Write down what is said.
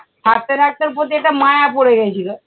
থাকতে থাকতে ওর প্রতি একটা মায়া পড়ে গেছিলো।